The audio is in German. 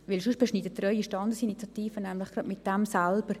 Sonst beschneiden Sie Ihre Standesinitiative gleich selbst.